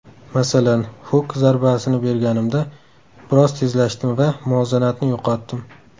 Masalan, huk zarbasini berganimda biroz tezlashdim va muvozanatni yo‘qotdim.